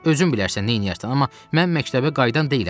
Özün bilərsən neyləyərsən, amma mən məktəbə qayıdan deyiləm.